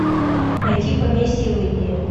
найди поместье в индии